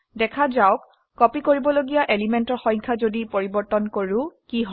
দেখা যাওক কপি কৰিবলগিয়া এলিমেন্টৰ সংখ্যা যদি পৰিবৰ্তন কৰো কি হয়